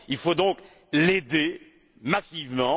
Il faut donc l'aider massivement.